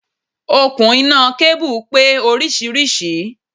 Okùn iná kábù pé oríṣiríṣi.